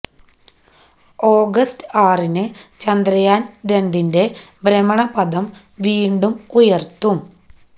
August ആറിന് ചന്ദ്രയാന് രണ്ടിന്റെ ഭ്രമണ പഥം വീണ്ടും ഉയര്ത്തും